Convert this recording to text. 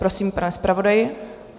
Prosím, pane zpravodaji.